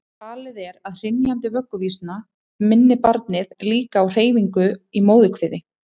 talið er að hrynjandi vögguvísna minni barnið líka á hreyfinguna í móðurkviði